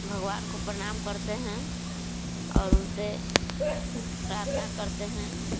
भगवान को प्रणाम करते हैं और उनसे प्रार्थना करते हैं।